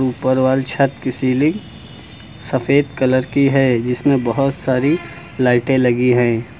ऊपर वाली छत की सीलिंग सफेद कलर की है जिसमें बहोत सारी लाइटे लगी है।